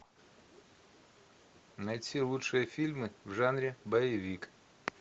найти лучшие фильмы в жанре боевик